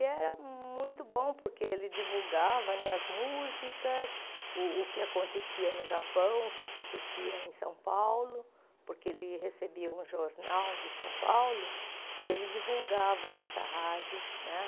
E era muito bom, porque ele divulgava as músicas, o o que acontecia no Japão, o que acontecia em São Paulo, porque ele recebia um jornal de São Paulo, e ele divulgava nessa rádio.